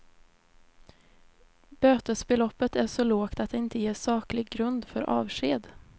Bötesbeloppet är så lågt att det inte ger saklig grund för avsked.